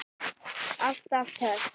Alltaf töff.